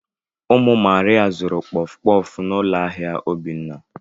Ụmụ Maria zuru kpọf kpọf n'ụlọ ahịa Obinna.